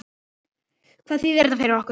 Hvað þýðir þetta fyrir okkur?